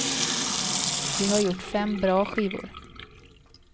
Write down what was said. Vi har gjort fem bra skivor.